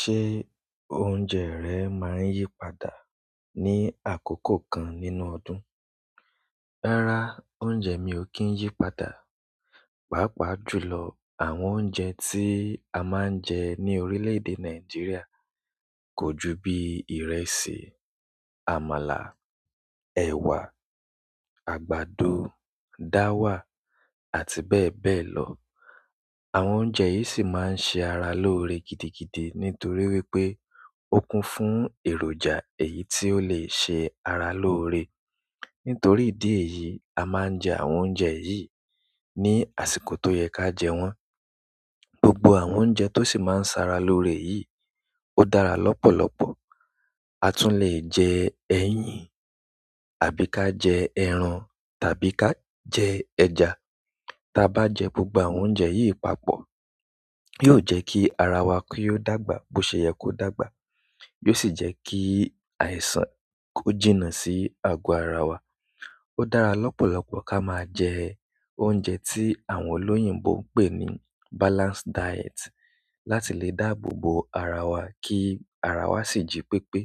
Ṣé oúnjẹ rẹ máa ń yí padà ní àkókò kan nínú ọdún? Rárá oúnjẹ mi ò kí ń yí padà. Pàápàá jù lọ àwọn oúnjẹ tí a máa ń jẹ ní orílẹ̀ èdè Nàìjíríà kò ju bí ìrẹsì, àmàlà, ẹ̀wà, àgbàdo, dáwà àti bẹ́ẹ̀ bẹ́ẹ̀ lọ. Àwọn oúnjẹ yìí sì máa ń ṣe ara lóore gidigidi nítorí wípé ó kún fún èròjà èyí tí ó lè ṣe ara lóore. Nítorí ìdí èyí, a máa ń jẹ àwọn oúnjẹ yìí ní àsìkò tó yẹ ká jẹ wọ́n. Gbogbo àwọn oúnjẹ tó sì máa ń sara lóore yìí ó dára lọ́pọ̀lọpọ̀. A tún lè jẹ ẹyin àbí ká jẹ ẹran tàbí ká jẹ ẹja. Tá bá jẹ gbogbo àwọn oúnjẹ yìí papọ̀ yóò jẹ́ kí ara wa ki yóò dàgbà bó ṣe yẹ kó dàgbà, yóò sì jẹ́ kí àìsàn ó jìnnà sí ago ara wa. Ó dára lọ́pọ̀lọpọ̀ ká máa jẹ oúnjẹ tí àwọn olóyìnbo ń pè ní balanced diet láti lè dáàbò bo ara wa kí ara wa sì jí pépé.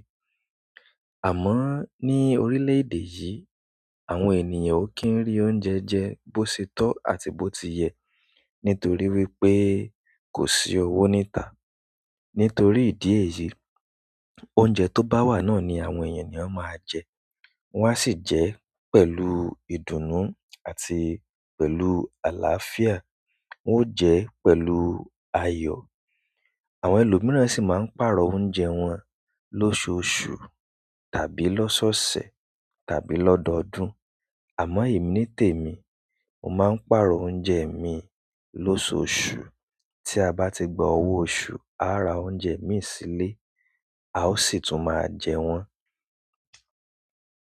Àmọ́ ní orílẹ̀ èdè yìí àwọn ènìyàn ò kí ń rí oúnjẹ jẹ bó ṣe tó àti bó ti yẹ nítorí wípé kò sí owó níta. Nítorí ìdí èyí oúnjẹ tó bá wà náà ni àwọn èèyàn ni ó máa jẹ. Wọ́n á sì jẹ pẹ̀lú ìdùnnú àti pẹ̀lú àlàáfíà. Won o je pẹ̀lú ayo. Àwọn ẹlòmíràn sì máa ń pààrọ̀ oúnjẹ wọn lóṣoṣù tàbí lọ́sọ̀sẹ̀ tàbí lọ́dọọdún. Àmọ́ èmi nítèmi, mo máa ń pààrọ̀ oúnjẹ mi lóṣoṣù. Tí a bá ti gba owó oṣù, a á ra oúnjẹ mìí sílé, a ó sì tún máa jẹ wọ́n.